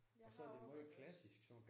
Jeg har overvejet det også